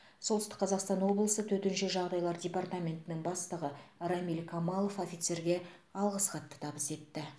солтүстік қазақстан облысы төтенше жағдайлар департаментінің бастығы рамиль камалов офицерге алғыс хатты табыс етті